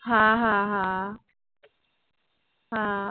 হ্যাঁ হ্যাঁ হ্যাঁ হ্যাঁ